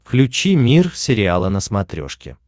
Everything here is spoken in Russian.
включи мир сериала на смотрешке